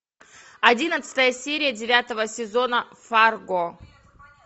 одиннадцатая серия девятого сезона фарго